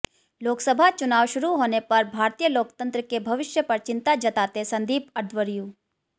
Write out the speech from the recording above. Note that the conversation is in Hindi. लोकसभा चुनाव शुरू होने पर भारतीय लोकतंत्र के भविष्य पर चिंता जताते संदीप अध्वर्यु